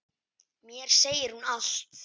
Mér segir hún allt: